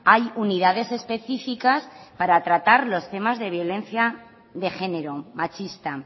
hay unidades específicas para tratar los temas de violencia de género machista